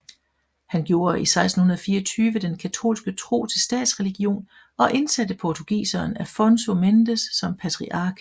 Han gjorde i 1624 den katolske tro til statsreligion og indsatte portugiseren Afonso Mendes som patriark